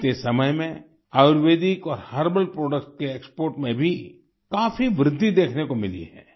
बीते समय में आयुर्वेदिक और हर्बल प्रोडक्ट के एक्सपोर्ट में भी काफी वृद्धि देखने को मिली है